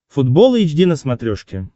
футбол эйч ди на смотрешке